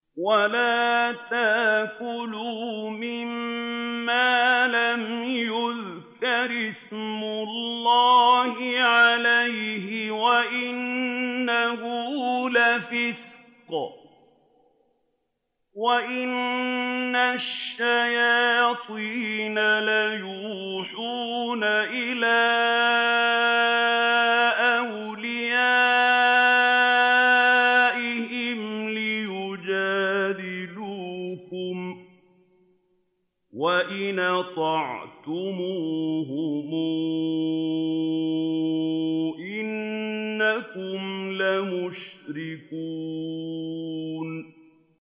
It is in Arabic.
وَلَا تَأْكُلُوا مِمَّا لَمْ يُذْكَرِ اسْمُ اللَّهِ عَلَيْهِ وَإِنَّهُ لَفِسْقٌ ۗ وَإِنَّ الشَّيَاطِينَ لَيُوحُونَ إِلَىٰ أَوْلِيَائِهِمْ لِيُجَادِلُوكُمْ ۖ وَإِنْ أَطَعْتُمُوهُمْ إِنَّكُمْ لَمُشْرِكُونَ